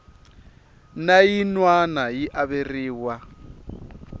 na yin wana yi averiwa